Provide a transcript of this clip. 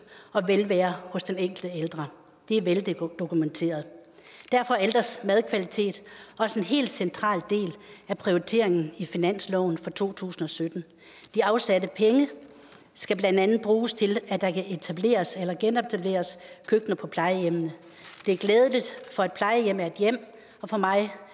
og velvære hos den enkelte ældre det er veldokumenteret derfor er ældres madkvalitet også en helt central del af prioriteringen i finansloven for to tusind og sytten de afsatte penge skal blandt andet bruges til at der kan etableres eller genetableres køkkener på plejehjemmene det er glædeligt for et plejehjem er et hjem og for mig